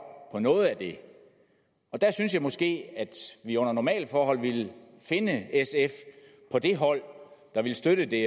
på noget af det jeg synes måske at vi under normale forhold ville finde sf på det hold der støtter det